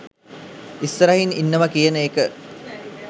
ඉස්සරහින් ඉන්නවා කියන එක